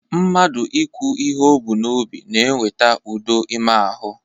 Mmadụ ikwu ihe o bu n'obi na-eweta udo ime ahụ